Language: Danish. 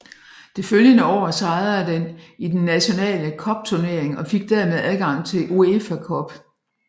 Det følgende år sejrede den i den nationale cupturnering og fik dermed adgang til UEFA Cup